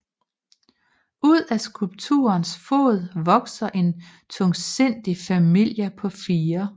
Ud af skulpturens fod vokser en tungsindig familie på fire